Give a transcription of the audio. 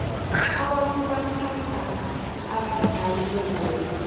abantu bathanda abadlali bebholo